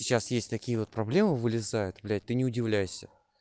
сейчас есть такие вот проблемы вылезают блять ты не удивляйся